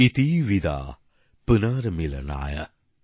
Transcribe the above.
ইতি বিদা পুনর্মিলনায়